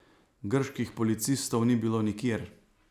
Grških policistov ni bilo nikjer.